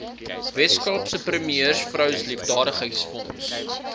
weskaapse premiersvrou liefdadigheidsfonds